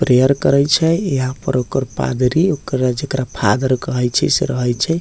प्रेयर करय छे यहाँ पर ओकर पादरी ओकरा जेकरा फादर कहे छय से रहे छय।